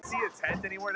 Fjarri lagi.